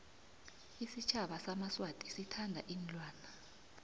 isitjhaba samaswati sithanda iinlwana